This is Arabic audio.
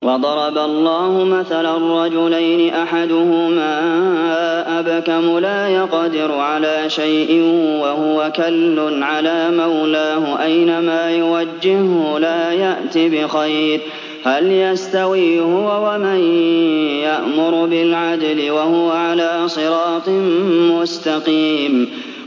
وَضَرَبَ اللَّهُ مَثَلًا رَّجُلَيْنِ أَحَدُهُمَا أَبْكَمُ لَا يَقْدِرُ عَلَىٰ شَيْءٍ وَهُوَ كَلٌّ عَلَىٰ مَوْلَاهُ أَيْنَمَا يُوَجِّههُّ لَا يَأْتِ بِخَيْرٍ ۖ هَلْ يَسْتَوِي هُوَ وَمَن يَأْمُرُ بِالْعَدْلِ ۙ وَهُوَ عَلَىٰ صِرَاطٍ مُّسْتَقِيمٍ